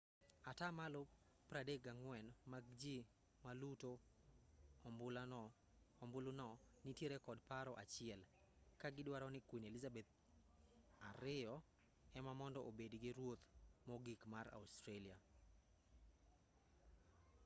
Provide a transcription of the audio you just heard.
atamalo 34 mag ji maluto ombuluno nitiere kod paro achiel ka gidwaro ni queen elizabeth ii ema mondo obedi ruoth mogik mar australia